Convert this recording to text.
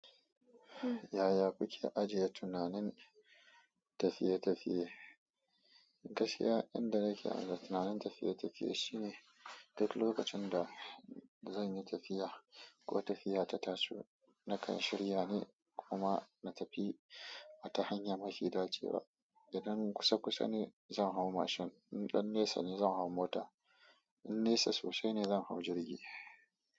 Yaya kuke ajiye tunanin tafiye-tafiye? Gaskiya, inda nake ajiye tunanin tafiye-tafiye shine duk lokacin da zan yi tafiya ko tafiya ta taso, nakan shirya ne kuma na tafi a ta hanyar mafi dacewa. Idan kusa-kusa ne, zan hau mashin. Idan nesa ne, zan hau mota. In nesa sosai ne zan hau jirgi.